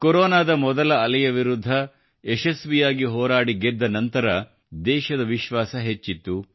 ಕೊರೊನಾದ ಮೊದಲ ಅಲೆಯ ವಿರುದ್ಧ ಯಶಸ್ವಿಯಾಗಿ ಹೋರಾಡಿ ಗೆದ್ದ ನಂತರ ದೇಶದ ವಿಶ್ವಾಸ ಹೆಚ್ಚಿತ್ತು